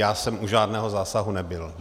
Já jsem u žádného zásahu nebyl.